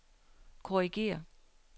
korrigér